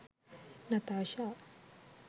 natasha